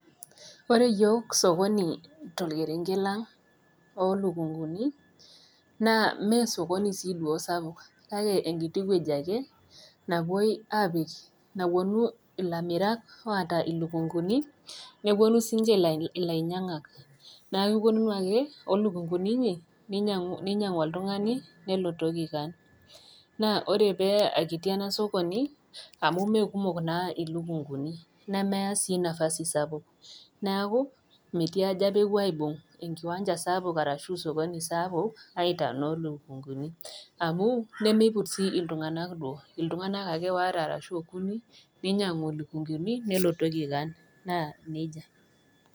Ore iyiok sokoni tolkerenket lang' oo ilukunguni naa Mee sokoni sii duo sapuk kake, enkiti wueji ake napuonu ilamirak oata ilukunguni, nepuonu sii ninche ilainyangak, neaku opuonunu ake o ilukunguni inyi, neinyangu oltung'ani nelotoki kaan. Naa ore paa kiti ena sokoni, amu Mee kumok naa ilukunguni nemeyaa sii napasi sapuk, neaku metii aja pee epuo aibung' enkiwanja sapuk arashu esokoni saapuk aitaa inoo lukunguni, amu nemeiput sii iltung'ana duo, iltung'ana ake waare ashu okuni neinyangu ilukunguni nelotoki kaan, naa neija.